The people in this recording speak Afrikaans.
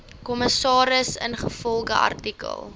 kommissaris ingevolge artikel